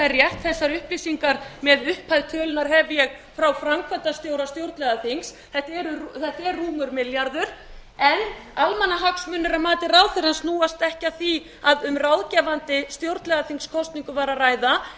rétt þessar upplýsingar með upphæð tölunnar hef ég frá framkvæmdastjóra stjórnlagaþings þetta er rúmur milljarður en almannahagsmunir að mati ráðherrans snúast ekki um það að um ráðgefandi stjórnlagaþingskosningu væri að ræða